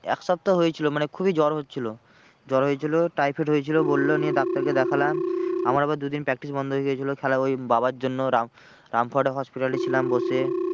এক সপ্তাহ হয়েছিল মানে খুবই জোর হচ্ছিলো জ্বর হয়েছিল টাইফয়েড হয়েছিল বললো নিয়ে ডাক্তারকে দেখালাম। আমার আবার দুদিন practice বন্ধ হয়ে গিয়েছিলো খেলা ওই বাবার জন্য রাম রামপুরহাটে hospital এ ছিলাম বসে।